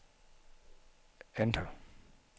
enter